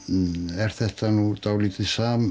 er þetta nú dálítið